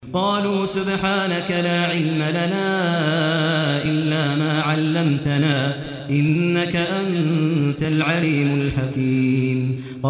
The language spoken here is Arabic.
قَالُوا سُبْحَانَكَ لَا عِلْمَ لَنَا إِلَّا مَا عَلَّمْتَنَا ۖ إِنَّكَ أَنتَ الْعَلِيمُ الْحَكِيمُ